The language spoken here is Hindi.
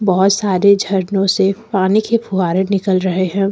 बहोत सारे झरनों से पानी के फुहारे निकल रहे हैं।